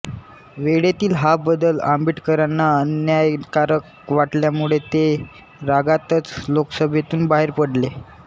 वेळेतील हा बदल आंबेडकरांना अन्यायकारक वाटल्यामुळे ते रागातच लोकसभेतून बाहेर पडले